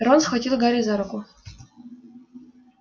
рон схватил гарри за руку